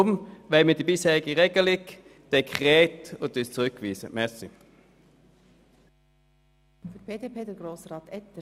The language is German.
Deshalb wollen wir die bisherige Regelung, die Dekretform, beibehalten und lehnen den Antrag ab.